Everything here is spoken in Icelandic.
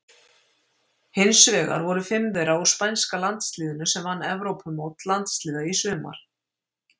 Hinsvegar voru fimm þeirra úr spænska landsliðinu sem vann Evrópumót landsliða í sumar.